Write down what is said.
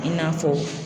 I n'a fɔ